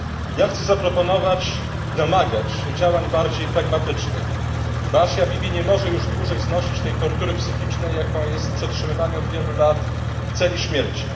Ja chcę zaproponować i domagać się działań bardziej pragmatycznych, bo Asia Bibi nie może już dłużej znosić tej tortury psychicznej, jaką jest przetrzymywanie od wielu lat w celi śmierci.